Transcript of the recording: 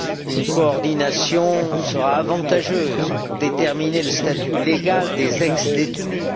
Une coordination sera avantageuse pour déterminer le statut légal des ex détenus.